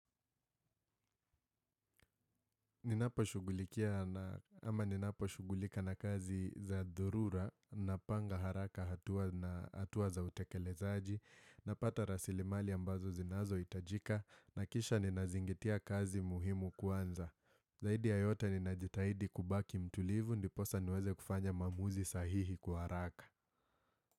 Ninaposhughulika na kazi za dhurura na panga haraka hatua za utekelezaji napata rasilimali ambazo zinazohitajika na kisha ninazingatia kazi muhimu kwanza. Zaidi ya yote ninajitahidi kubaki mtulivu ndiposa niweze kufanya maamuzi sahihi kwa haraka.